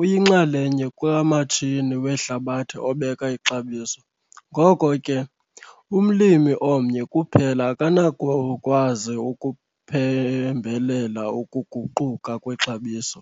uyinxalenye kamatshini wehlabathi obeka ixabiso ngoko ke, umlimi omnye kuphela akanakukwazi ukuphembelela ukuguquka kwexabiso.